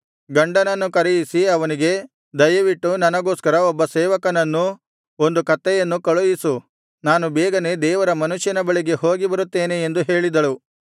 ಗಂಡನನ್ನು ಕರೆಯಿಸಿ ಅವನಿಗೆ ದಯವಿಟ್ಟು ನನಗೋಸ್ಕರ ಒಬ್ಬ ಸೇವಕನನ್ನೂ ಒಂದು ಕತ್ತೆಯನ್ನೂ ಕಳುಹಿಸು ನಾನು ಬೇಗನೆ ದೇವರ ಮನುಷ್ಯನ ಬಳಿಗೆ ಹೋಗಿಬರುತ್ತೇನೆ ಎಂದು ಹೇಳಿದಳು